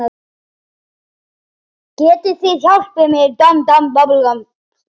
Getið þið hjálpað mér?